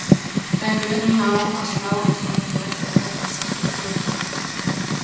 En mun hann ná að slá eins mörg met og portúgalska stórstjarnan?